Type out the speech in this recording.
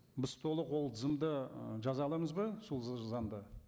біз толық ол тізімді ы жаза аламыз ба сол заңда